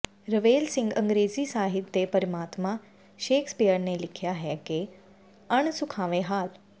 ਰਵੇਲ ਸਿੰਘ ਅੰਗਰੇਜ਼ੀ ਸਾਹਿਤ ਦੇ ਪਿਤਾਮਾ ਸ਼ੇਕਸਪੀਅਰ ਨੇ ਲਿਖਿਆ ਹੈ ਕਿ ਅਣ ਸੁਖਾਵੇਂ ਹਾਲ